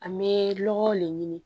An bɛ lɔgɔw le ɲini